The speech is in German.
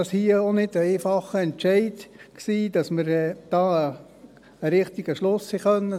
Deshalb war es kein einfacher Entscheid, hier den richtigen Schluss zu ziehen.